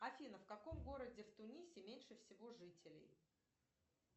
афина в каком городе в тунисе меньше всего жителей